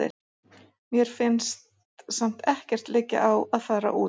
Mér finnst samt ekkert liggja á að fara út.